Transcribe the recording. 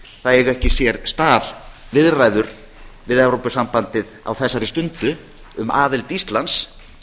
það eiga ekki sér stað viðræður við evrópusambandið á þessari stundu um aðild íslands